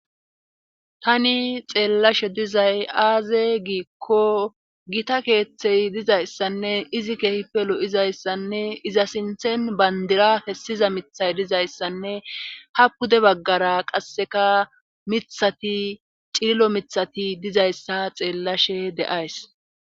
Tani xeellashe dizay aaze giikko gita keeththey dizayssanne izi kehipe lo7izayssanne iza sinthen bandira fessiza mithay dizayssanne ha pude baggara qasseka mithati xililo mithati dizayssa xeellashe deays